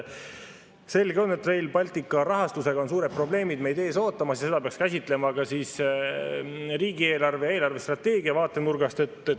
Selge on, et Rail Balticu rahastusega on meid suured probleemid ees ootamas ja seda peaks käsitlema ka riigieelarve ja eelarvestrateegia vaatenurgast.